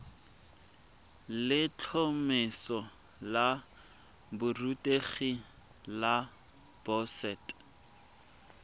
letlhomeso la borutegi la boset